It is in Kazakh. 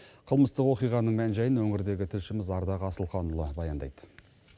қылмыстық оқиғаның мән жайын өңірдегі тілшіміз ардақ асылханұлы баяндайды